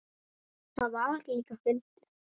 Það var líka fyndið.